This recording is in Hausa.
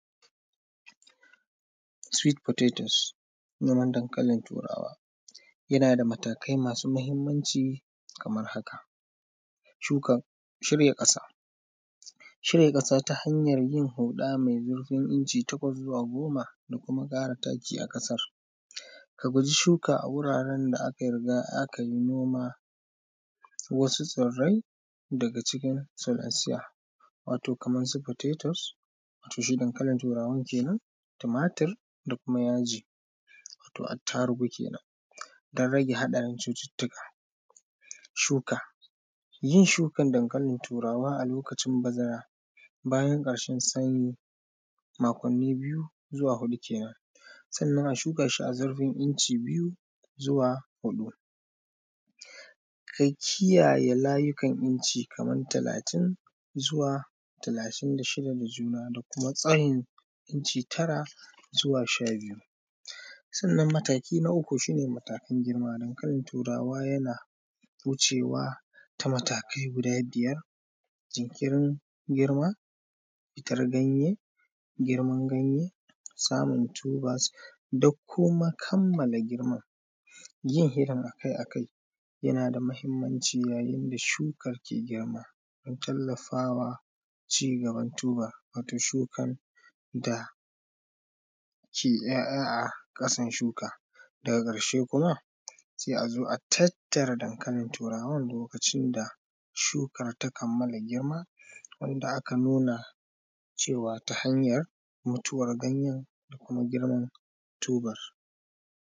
Sweet potatoes noman dankalin Turawa yana da matakai masu mahimmanci kamar haka: shuka, shirya ƙasa, shirya ƙasa ta hanyar yin huɗa mai zurfin inci takwas zuwa goma da kuma ƙara taki a ƙasar ka guji shuka a wuraran da aka riga aka yi noman wasu tsirrai daga cikin tsirran tsiya wato kaman su potatoe wato shi dankalin Turawan kennan tumatur da kuma yaji, watan attarugu kenan dan rage haɗarin cututtuka shuka. Yin shukan dankalin Turawa a lokacin bazara bayan ƙarshen sanyi makonni biyu zuwa huɗu kenan, sannan a shuka shi zurfin inci biyu zuwa huɗu, ka kiyaye layukar inci kaman talatin zuwa talatin da shida da juna da kuma tsayin inci tara zuwa sha biyu. Sannan mataki na uku shi ne matakin girman dankalin Turawa yana wucewa ta matakai guda biyar jinkirin girma fitar ganye, girman ganye samun tubas da kuma kammala girman, yin shirin akai-akai yana da mahimmanci yayin da shukan ke girma dan tallafawa cigaban turba, watan shukan da ke ‘ya’ya a ƙasan shuka daga ƙarshe kuma sai a zo, a tattara danakalin Turawan lokacin da shuka ta kammala girma wanda aka nuna cewa ta hanyar mutuwar ganyen da kuma girman turba.